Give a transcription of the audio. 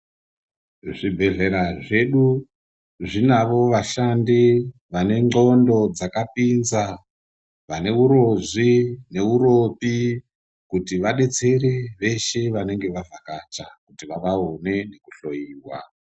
Zvibhedhlera zvedu zvinavo vashandi vane ndxondo dzakapinza vane urozvi neuropi kuti vadetsere veshe vanenge vavhakacha kuti vaone kuhloyiwa